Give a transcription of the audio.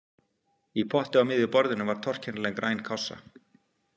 Í potti á miðju borðinu var torkennileg græn kássa.